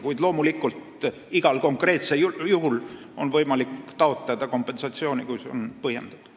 Kuid loomulikult on igal konkreetsel juhul võimalik taotleda kompensatsiooni, kui see on põhjendatud.